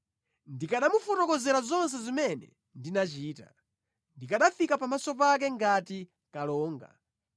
Ndikanamufotokozera zonse zimene ndinachita; ndikanafika pamaso pake ngati kalonga.